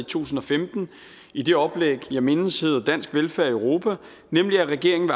tusind og femten i det oplæg jeg mindes hed dansk velfærd i europa nemlig at regeringen